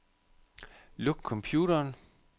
Luk computeren.